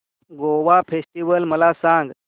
Goa festival मला सांग